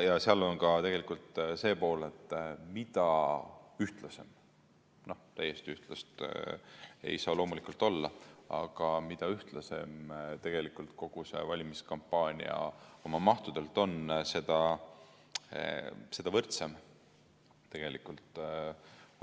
Seal on ka tegelikult see pool, et mida ühtlasem, täiesti ühtlast ei saa loomulikult olla, aga mida ühtlasem kogu see valimiskampaania oma mahtudelt on, seda võrdsem